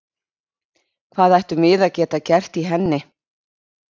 Hvað ættum við að geta gert í henni?